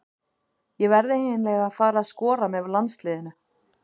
Ég verð eiginlega að fara að skora með landsliðinu.